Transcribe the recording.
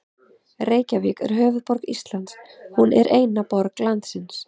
Reykjavík er höfuðborg Íslands. Hún er eina borg landsins.